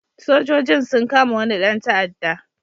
Sojojin sun kama wani ɗan ta'adda.